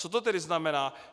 Co to tedy znamená?